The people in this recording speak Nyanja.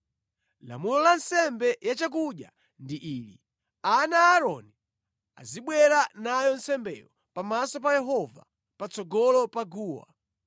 “ ‘Lamulo la nsembe yachakudya ndi ili: ana a Aaroni azibwera nayo nsembeyo pamaso pa Yehova, patsogolo pa guwa.